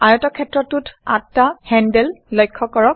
আয়তক্ষেত্ৰটোত আঠটা হেণ্ডেল লক্ষ কৰক